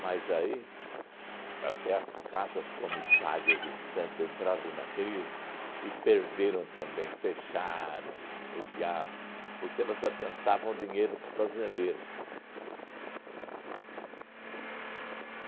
Mas aí, até as casas comissárias em Santo entraram na crise e perderam também, fecharam o diabo, porque elas adiantavam dinheiro para os fazendeiros.